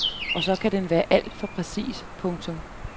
Og så kan den være alt for præcis. punktum